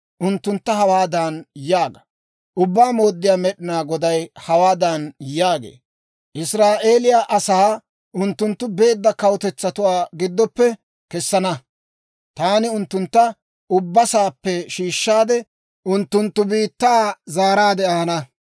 unttuntta hawaadan yaaga; ‹Ubbaa Mooddiyaa Med'inaa Goday hawaadan yaagee; «Israa'eeliyaa asaa unttunttu beedda kawutetsatuwaa giddoppe kessana; taani unttuntta ubba saappe shiishshaade, unttunttu biittaa zaaraadde ahana.